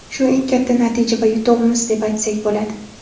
Shu eng katta natija va yutug‘imiz deb aytsak bo‘ladi.